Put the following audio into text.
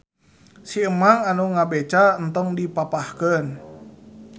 Si emang anu ngabeca entong dipapahkeun.